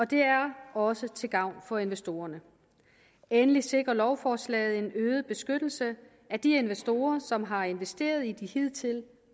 det er også til gavn for investorerne endelig sikrer lovforslaget en øget beskyttelse af de investorer som har investeret i de hidtil